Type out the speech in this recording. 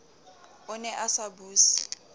o ne a sa buse